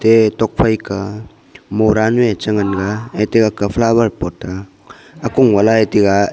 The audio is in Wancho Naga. ee tokphai ka mora nu eh chi nganga ette agga flower pot aa akung vala eh tiga.